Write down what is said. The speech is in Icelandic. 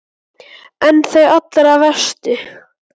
En þau allra verstu?